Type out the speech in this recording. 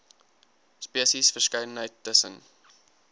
spesies verskeidenheid tussen